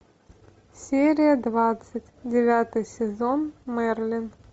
серия двадцать девятый сезон мерлин